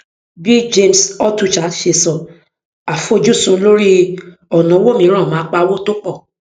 bí james altucher ṣe sọ àfojúsùn lórí ọnà owó mìíràn máa pawó tó pọ